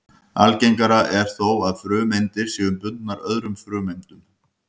Algengara er þó að frumeindir séu bundnar öðrum frumeindum.